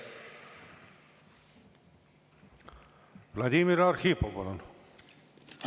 Vladimir Arhipov, palun!